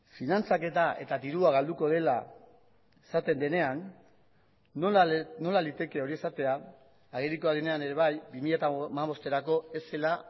finantzaketa eta dirua galduko dela esaten denean nola liteke hori esatea agerikoa denean ere bai bi mila hamabosterako ez zela